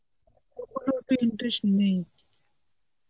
football এ অত interest নেই.